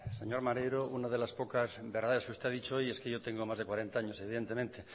señor maneiro una de las pocas verdades que usted ha dicho hoy es que yo tengo más de cuarenta años evidentemente